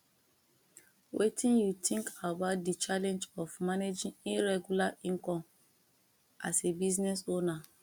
wetin you think about di challenge of managing irregular income as a business onwer